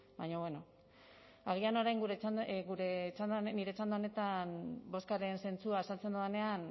baina bueno agian orain nire txanda honetan bozkaren zentzua azaltzen dudanean